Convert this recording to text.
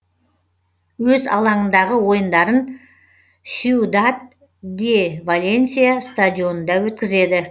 өз алаңындағы ойындарын сьюдад де валенсия стадионында өткізеді